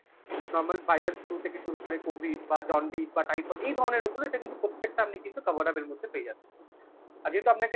normal viral flue থেকে শুরু করে COVID বা জন্ডিস বা type of এই ধরনের ওপরে এটা কিন্তু প্রত্যেকটা আপনি কিন্তু cover up এর মধ্যে পেয়ে যাবেন, আর যেহেতু আপনাকে